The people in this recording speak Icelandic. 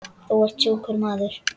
Þú ert sjúkur maður.